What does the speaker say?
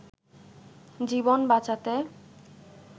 জীবন বাঁচাতে